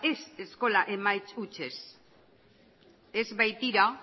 ez eskola emaitza hutsez ez baitira